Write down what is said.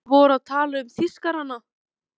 Þeir voru að tala um Þýskarana!